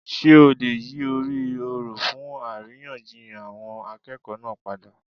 Sé o lè yí orí òrò fún àríyànjiyàn àwọn akéèkòó náà padà?